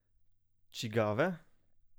Čigave?